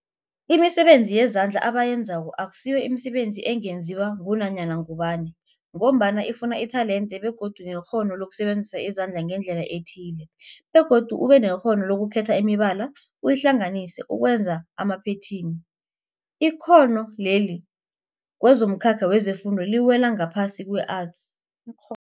Imisebenzi yezandla abayenzako akusiyo imisebenzi ungenziwa ngunyana ngubani mgombana ifuna itelente begodu nekghono lokusebenzisa izandla ngendlela ethile, begodu ubenekghono lokukhetha imibala uyihlanganise ukwenza amaphetheni. Ikghono leli kwezomkhakha wefundo liwela ngaphasi kwe-Arts. Ikgho